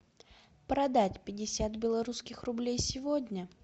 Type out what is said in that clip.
продать пятьдесят белорусских рублей сегодня